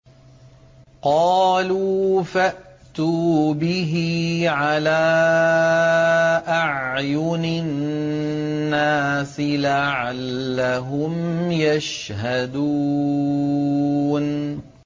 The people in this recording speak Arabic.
قَالُوا فَأْتُوا بِهِ عَلَىٰ أَعْيُنِ النَّاسِ لَعَلَّهُمْ يَشْهَدُونَ